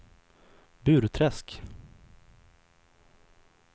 Burträsk